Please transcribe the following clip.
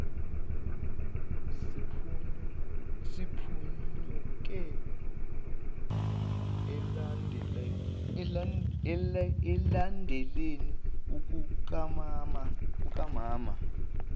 siphunyuke olakeni lukamama